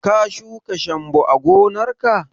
Ka shuka shambo a gonar ka?